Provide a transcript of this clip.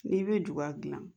N'i bɛ juga dilan